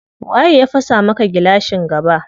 Waye ya fasa maka gilashin gaba?